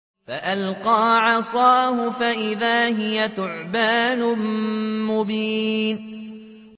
فَأَلْقَىٰ عَصَاهُ فَإِذَا هِيَ ثُعْبَانٌ مُّبِينٌ